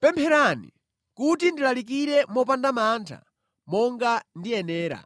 Pempherani kuti ndilalikire mopanda mantha, monga ndiyenera.